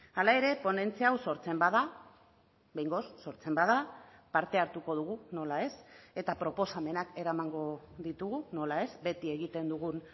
hala ere ponentzia hau sortzen bada behingoz sortzen bada parte hartuko dugu nola ez eta proposamenak eramango ditugu nola ez beti egiten dugun